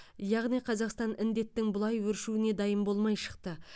яғни қазақстан індеттің бұлай өршуіне дайын болмай шықты